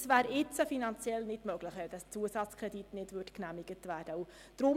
Das wäre zurzeit finanziell nicht möglich, wenn der Zusatzkredit nicht genehmigt würde.